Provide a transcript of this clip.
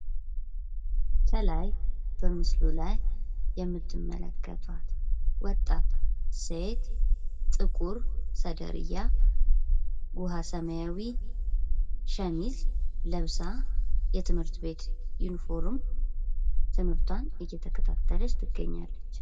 ከላይ በምስሉ ላይ የምትመለከቷት ወጣት ሴት ጥቁር ሴደርያ ዉሃ ሰማያዊ ሸሚዝ ለብሳ የትምህርት ቤት ዩኒፎርም ትምህርቷን እየተከታተች ትገኛለች።